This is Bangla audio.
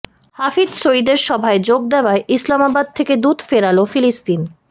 হাফিজ সইদের সভায় যোগ দেওয়ায় ইসলামাবাদ থেকে দূত ফেরাল ফিলিস্তিন